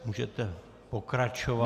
Můžete pokračovat.